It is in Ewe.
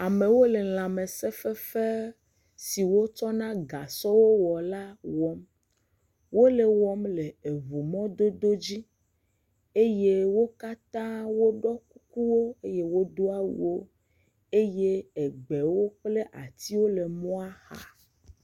Amewo le lãmese fefe siwo kɔ na gasɔ wɔna la wɔm. Wole wɔm le eʋu mɔdodo dzi eye wò katã woɖoe kuku wò eye wodo awu eye edewo kple atiwo le enua xa.